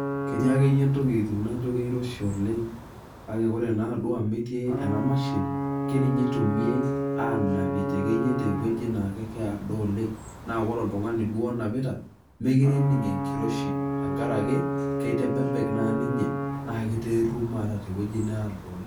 Ketii akeyie ntokiting naijo kiroshi oleng',ake kore naduo amu etii ena mashini, keninye itumie anapie tekeyie tewueji naa keedo oleng',naa ore oltung'ani duo onapita, mekire ening' enkiroshi tenkaraki, kitebebek naa ninye, na kiteerruma ata tewueji needo oleng'.